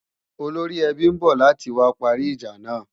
Olóríẹbí ń bọ̀ láti wá parí ìjà náà